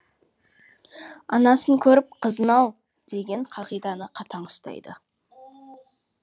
анасын көріп қызын ал деген қағиданы қатаң ұстайды